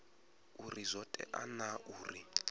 uri zwo tea naa uri